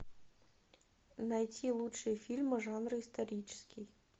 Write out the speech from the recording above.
найти лучшие фильмы жанра исторический